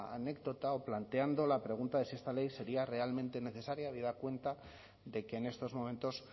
la anécdota o planteando la pregunta de si esta ley sería realmente necesaria habida cuenta de que en estos momentos